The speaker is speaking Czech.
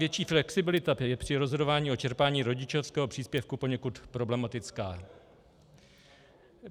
Větší flexibilita je při rozhodování o čerpání rodičovského příspěvku poněkud problematická.